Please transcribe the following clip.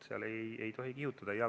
Seal ei tohi kihutada.